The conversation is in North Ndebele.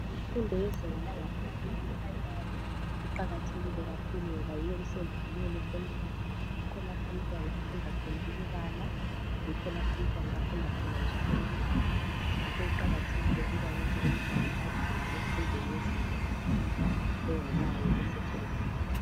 Imfundo yezinga langaphansi iprimary iqakathekile kakhulu ngoba yiyo isendlalelo somntwana yikho lapho umntwana afunda khona ukubala yikho lapha umntwana afunda khona njalo ukubhala ngakho kuqakathekile ukuthi umntwana adlule emfundweni yezinga langaphasi engakayi esecondary.